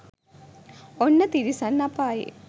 ඔන්න තිරිසන් අපායේ